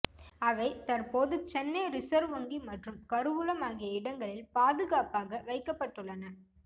அவை தற்போது சென்னை ரிசர்வ் வங்கி மற்றும் கருவூலம் ஆகிய இடங்களில் பாதுகாப்பாக வைக்கப்பட்டுள்ளன